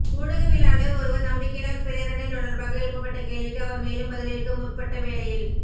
ஊடகவியலாளர் ஒருவர் நம்பிக்கையில்லா பிரேரணை தொடர்பாக எழுப்பப்பட்ட கேள்விக்கு அவர் மேலும் பதிலளிக்க முற்பட்ட வேளையில்